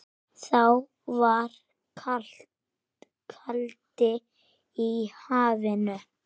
Þá var kaldi í hafinu.